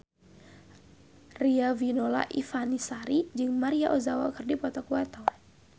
Riafinola Ifani Sari jeung Maria Ozawa keur dipoto ku wartawan